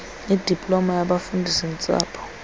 idiploma yobufundisi ntsapho